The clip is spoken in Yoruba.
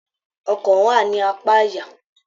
Ọkàn wá ní apá àyà.